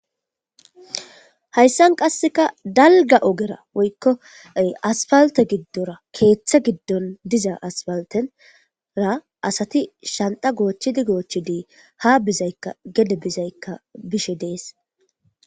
hayssan qasseka dalga ogera woykko asfalte giddora keeththa giddon diza aspaltenra asati shanta goochchidi goochchidi ha bizaykka gede bizaykka bishe dees